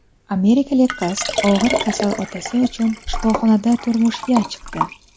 Amerikalik qiz og‘ir kasal otasi uchun shifoxonada turmushga chiqdi.